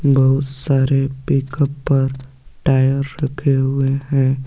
बहुत सारे पिकअप पर टायर रखे हुए हैं।